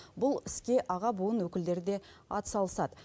бұл іске аға буын өкілдері де атсалысады